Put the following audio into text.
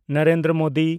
Narendra Modi